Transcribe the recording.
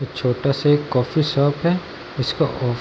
एक छोटा-सा एक कॉफ़ी शॉप है इसका कोफ --